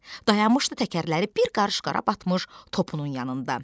Dayanmışdı təkərləri bir qarış qara batmış topunun yanında.